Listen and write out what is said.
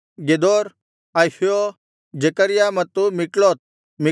Gedor Ahio Zechariah ಮತ್ತು Mikloth